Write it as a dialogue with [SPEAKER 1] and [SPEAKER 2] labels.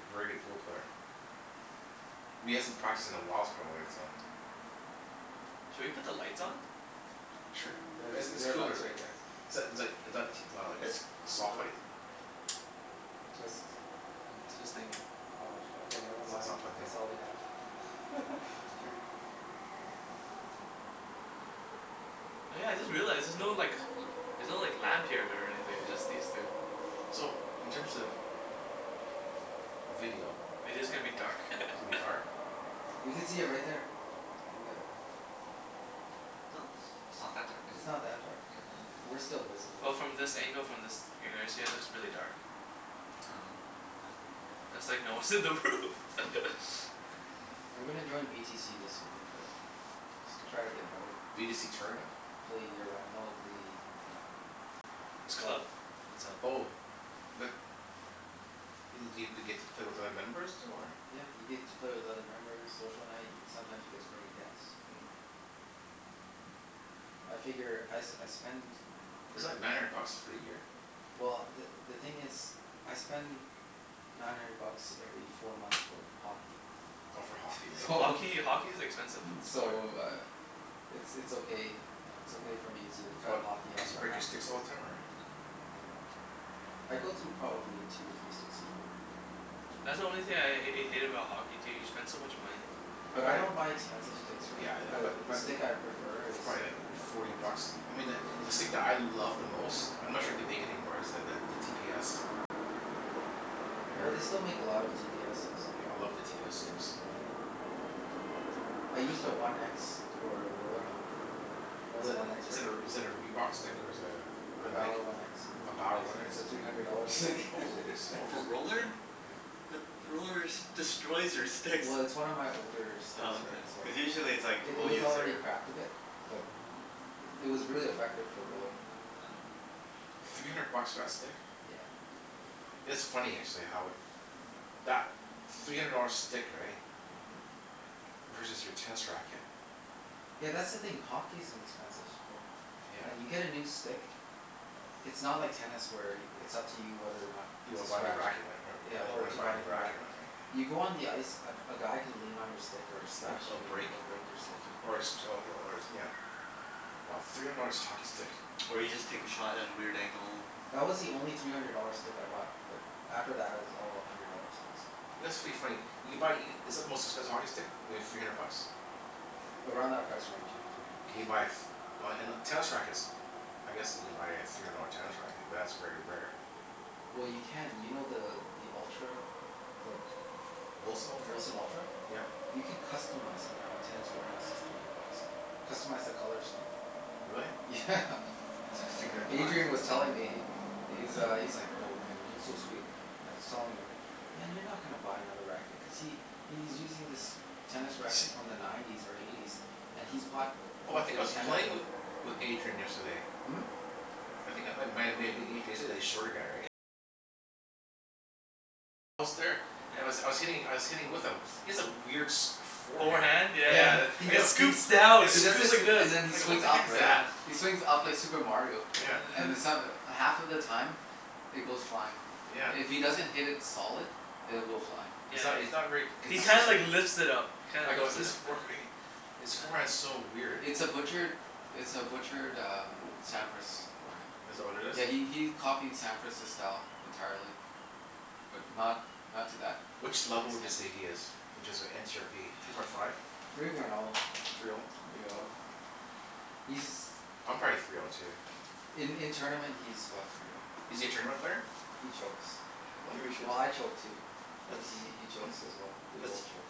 [SPEAKER 1] a very good pool player. But he hasn't practiced in a whiles probably so
[SPEAKER 2] Hmm. Should we put the lights on?
[SPEAKER 1] Sure.
[SPEAKER 3] There's
[SPEAKER 1] It's it's
[SPEAKER 3] there are lights
[SPEAKER 1] cooler.
[SPEAKER 3] right there.
[SPEAKER 1] Is that is like is that t- wow like
[SPEAKER 4] It's
[SPEAKER 1] soft light?
[SPEAKER 4] cooler.
[SPEAKER 3] Twist.
[SPEAKER 2] I'm twisting it.
[SPEAKER 3] Oh, sh- okay, never
[SPEAKER 1] It's it's
[SPEAKER 3] mind,
[SPEAKER 1] not
[SPEAKER 3] if
[SPEAKER 1] plugged in.
[SPEAKER 3] that's all we have.
[SPEAKER 1] It's
[SPEAKER 2] Mhm.
[SPEAKER 1] okay.
[SPEAKER 2] Oh yeah, I just realized, there's no like l- there's no like lamp here or anything.
[SPEAKER 3] Yeah.
[SPEAKER 2] It's just these two.
[SPEAKER 1] So, in terms
[SPEAKER 2] Hmm.
[SPEAKER 1] of video
[SPEAKER 2] Video's gonna be
[SPEAKER 4] Mhm.
[SPEAKER 2] dark.
[SPEAKER 1] it's gonna be dark.
[SPEAKER 3] You could see it right there. In the
[SPEAKER 2] Yeah.
[SPEAKER 4] No, it's it's not that dark, is
[SPEAKER 3] It's
[SPEAKER 4] it?
[SPEAKER 3] not that dark
[SPEAKER 4] Yeah.
[SPEAKER 2] Yeah.
[SPEAKER 3] I- we're still
[SPEAKER 2] Well,
[SPEAKER 3] visible.
[SPEAKER 2] from this angle, from this it looks really dark.
[SPEAKER 4] Oh.
[SPEAKER 2] Yeah. It's like no one's in the room. Yeah.
[SPEAKER 1] Hmm.
[SPEAKER 3] I'm gonna join v t c this winter though. Try to get better.
[SPEAKER 1] B to c tournament?
[SPEAKER 3] Play year round, no the uh the
[SPEAKER 2] It's a
[SPEAKER 3] club.
[SPEAKER 2] club. It's all
[SPEAKER 1] Oh. But i- do you get to play with other members too, or
[SPEAKER 3] Yeah, you get to play with other members. Social night. Sometimes you get to bring a guest.
[SPEAKER 1] Mm.
[SPEAKER 3] I figure I s- I spend
[SPEAKER 1] Is it like nine hundred bucks for a year?
[SPEAKER 3] well, the the thing is I spend nine hundred bucks every four months for hockey.
[SPEAKER 1] Oh, for hockey,
[SPEAKER 2] For
[SPEAKER 1] right?
[SPEAKER 3] So
[SPEAKER 2] hockey? Hockey's expensive f- sport.
[SPEAKER 3] so uh it's it's okay, it's okay for me to cut
[SPEAKER 1] What?
[SPEAKER 3] hockey off
[SPEAKER 1] Cuz you
[SPEAKER 3] for
[SPEAKER 1] break
[SPEAKER 3] half
[SPEAKER 1] your
[SPEAKER 3] a
[SPEAKER 1] sticks all
[SPEAKER 3] year.
[SPEAKER 1] the time or
[SPEAKER 2] Oh.
[SPEAKER 3] I go through probably two or three sticks a year.
[SPEAKER 2] That's the only thing
[SPEAKER 4] Mm.
[SPEAKER 2] I h- hate about hockey, too. You spend so much money.
[SPEAKER 1] I
[SPEAKER 3] But
[SPEAKER 1] buy
[SPEAKER 3] I don't buy expensive sticks, right?
[SPEAKER 1] Yeah, I I buy
[SPEAKER 3] The the
[SPEAKER 1] m- th-
[SPEAKER 3] stick I
[SPEAKER 1] b-
[SPEAKER 3] prefer
[SPEAKER 1] it's
[SPEAKER 3] is
[SPEAKER 1] probably like
[SPEAKER 3] one of the older
[SPEAKER 1] forty
[SPEAKER 3] ones.
[SPEAKER 1] bucks. I mean the the stick that I love the most I'm not sure if they make it anymore is the the t p s. Have you ever
[SPEAKER 3] Oh,
[SPEAKER 1] hear-
[SPEAKER 3] they still make a lot of t p s's.
[SPEAKER 1] Yeah, I love the t p s sticks.
[SPEAKER 3] Yeah, I I used a one x for a roller hockey. You know
[SPEAKER 1] Is
[SPEAKER 3] the
[SPEAKER 1] that
[SPEAKER 3] one x,
[SPEAKER 1] is
[SPEAKER 3] Rick?
[SPEAKER 1] that a is that a Reebok stick, or is that a a
[SPEAKER 3] The
[SPEAKER 1] Nike?
[SPEAKER 3] Bower one x?
[SPEAKER 1] A Bower
[SPEAKER 4] What?
[SPEAKER 1] one x?
[SPEAKER 3] It's a three hundred dollar stick.
[SPEAKER 1] Holy smokes.
[SPEAKER 4] For roller?
[SPEAKER 3] Yeah.
[SPEAKER 4] But the rollers destroys your sticks.
[SPEAKER 3] Well, it's one of my older s- sticks
[SPEAKER 4] Oh,
[SPEAKER 3] right,
[SPEAKER 4] okay.
[SPEAKER 3] so
[SPEAKER 4] Cuz
[SPEAKER 2] Yeah.
[SPEAKER 4] usually it's like
[SPEAKER 3] I- it
[SPEAKER 4] people
[SPEAKER 3] was
[SPEAKER 4] use
[SPEAKER 3] already
[SPEAKER 4] their
[SPEAKER 3] cracked a bit. But it was really effective for a roller.
[SPEAKER 4] Oh.
[SPEAKER 1] Three hundred bucks for that stick?
[SPEAKER 3] Yeah.
[SPEAKER 1] It's funny actually how it that three hundred dollar stick, right?
[SPEAKER 3] Mhm.
[SPEAKER 1] Versus your tennis racket.
[SPEAKER 3] Yeah, that's the thing. Hockey is an expensive sport. And
[SPEAKER 1] Yeah.
[SPEAKER 3] you get a new stick it's not like tennis where it's up to you whether or not
[SPEAKER 1] You
[SPEAKER 3] to
[SPEAKER 1] wanna buy a new
[SPEAKER 3] scratch it.
[SPEAKER 1] racket and er-
[SPEAKER 3] Yeah,
[SPEAKER 1] when you
[SPEAKER 3] or
[SPEAKER 1] wanna
[SPEAKER 3] to
[SPEAKER 1] buy
[SPEAKER 3] buy
[SPEAKER 1] a
[SPEAKER 3] a
[SPEAKER 1] new
[SPEAKER 3] new
[SPEAKER 1] racket or
[SPEAKER 3] racket.
[SPEAKER 1] not, right?
[SPEAKER 3] You go on the ice, a g- a guy can lean on your stick or
[SPEAKER 1] Yeah,
[SPEAKER 3] slash
[SPEAKER 1] a b-
[SPEAKER 3] you and
[SPEAKER 1] break
[SPEAKER 3] it'll break your
[SPEAKER 4] Oh,
[SPEAKER 3] stick.
[SPEAKER 4] is it?
[SPEAKER 1] or a six
[SPEAKER 4] Yeah.
[SPEAKER 1] oh
[SPEAKER 2] Mhm.
[SPEAKER 1] y- or it's nyeah. Wow. Three hundred dollars hockey stick.
[SPEAKER 4] Or you just take a shot at a weird angle.
[SPEAKER 3] That was the only three hundred dollar stick I bought. But after that it was all a hundred dollar sticks.
[SPEAKER 1] You know, it's pretty funny you can buy e- Is it the most expensive hockey stick? Maybe three hundred bucks?
[SPEAKER 3] Around that price range, yeah. Three hundred
[SPEAKER 1] Can
[SPEAKER 3] bucks.
[SPEAKER 1] you buy a f- Oh, and uh, tennis rackets. I guess you can buy a three hundred dollar tennis racket, but that's very rare.
[SPEAKER 3] Well,
[SPEAKER 2] Yeah.
[SPEAKER 3] you can. You know the the Ultra the W-
[SPEAKER 1] Wilson
[SPEAKER 3] the
[SPEAKER 1] Ultra?
[SPEAKER 3] Wilson Ultra?
[SPEAKER 1] Yep.
[SPEAKER 3] You can customize it now at Tennis Warehouse. It's three hundred bucks. Customize the color scheme.
[SPEAKER 1] Really?
[SPEAKER 3] Yeah.
[SPEAKER 1] If you're gonna
[SPEAKER 3] Adrian was
[SPEAKER 1] buy
[SPEAKER 3] telling me, he he's uh, he's like, "Oh man, it looks so sweet." And I was telling him, "Man, you're not gonna buy another racket." Cuz he he's using this tennis
[SPEAKER 2] He
[SPEAKER 3] racket
[SPEAKER 2] sh-
[SPEAKER 3] from the nineties or eighties. And he's bought
[SPEAKER 1] Oh, I think I
[SPEAKER 3] probably
[SPEAKER 1] was
[SPEAKER 3] ten of
[SPEAKER 1] playing
[SPEAKER 3] them.
[SPEAKER 1] with with Adrian yesterday.
[SPEAKER 3] Hmm? You c-
[SPEAKER 1] And I was I
[SPEAKER 2] Yeah.
[SPEAKER 1] was hitting I was hitting with him. He has a weird sh- forehand.
[SPEAKER 2] Forehand? Yeah yeah
[SPEAKER 3] Yeah,
[SPEAKER 1] Yeah, the
[SPEAKER 2] yeah.
[SPEAKER 3] he
[SPEAKER 1] I
[SPEAKER 2] It
[SPEAKER 1] go
[SPEAKER 3] he he
[SPEAKER 2] scoops down.
[SPEAKER 1] It
[SPEAKER 3] he
[SPEAKER 2] It
[SPEAKER 3] does
[SPEAKER 1] scoops
[SPEAKER 2] scoops
[SPEAKER 3] this,
[SPEAKER 2] like this.
[SPEAKER 3] and then he
[SPEAKER 1] I go, "What
[SPEAKER 3] swings
[SPEAKER 1] the
[SPEAKER 3] up,
[SPEAKER 1] heck is
[SPEAKER 3] right?
[SPEAKER 1] that?"
[SPEAKER 2] Yeah.
[SPEAKER 3] He swings up like Super Mario.
[SPEAKER 1] Yeah.
[SPEAKER 3] And then so- half of the time it goes flying.
[SPEAKER 1] Yeah.
[SPEAKER 3] If he
[SPEAKER 2] Yeah.
[SPEAKER 3] doesn't hit it solid, it will fly.
[SPEAKER 1] He's
[SPEAKER 2] Yeah,
[SPEAKER 1] not,
[SPEAKER 2] it
[SPEAKER 1] he's not very
[SPEAKER 3] It's
[SPEAKER 2] He
[SPEAKER 3] not
[SPEAKER 1] consistent.
[SPEAKER 2] kinda like lifts it up. He
[SPEAKER 1] I
[SPEAKER 2] kinda
[SPEAKER 1] go a
[SPEAKER 2] lifts it
[SPEAKER 1] his
[SPEAKER 2] up,
[SPEAKER 1] for-
[SPEAKER 2] yeah.
[SPEAKER 1] fee His forehand's
[SPEAKER 2] Yeah.
[SPEAKER 1] so weird.
[SPEAKER 3] It's a butchered it's a butchered um Sampras forehand.
[SPEAKER 1] Is that what it is?
[SPEAKER 3] Yeah, he he he copied Sampras's style entirely. But not not to that
[SPEAKER 1] Which level would you
[SPEAKER 3] extent.
[SPEAKER 1] say he is? Inches are n c r p Three point five?
[SPEAKER 3] Three point oh.
[SPEAKER 1] Three oh?
[SPEAKER 3] Three oh. He's
[SPEAKER 1] I'm probably three oh too.
[SPEAKER 3] In in tournament he's about three oh.
[SPEAKER 1] Is he a tournament player?
[SPEAKER 3] He chokes.
[SPEAKER 1] Hmm?
[SPEAKER 4] Think we should
[SPEAKER 3] Well, I choke too. But
[SPEAKER 4] Let's
[SPEAKER 3] he he
[SPEAKER 1] Hmm?
[SPEAKER 3] chokes as well. We both
[SPEAKER 4] let's
[SPEAKER 3] cho-